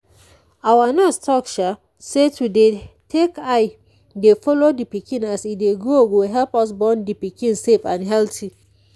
our nurse talk say to dey take eye dey follow de pikin as e dey grow go help us born the pikin safe and healthy.